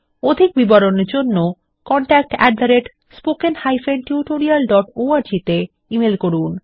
অধিক বিবরণের জন্য contactspoken tutorialorg তে ইমেল করুন